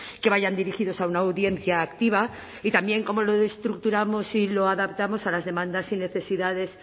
que vayan dirigidas a una audiencia activa y también cómo lo estructuramos y lo adaptamos a las demandas y necesidades